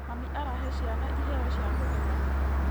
Mami arahe ciana iheo cia kũgegania.